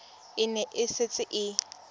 e ne e setse e